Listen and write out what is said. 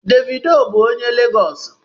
Davido bụ onye Legọọsị.